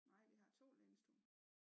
Nej vi har 2 lænestole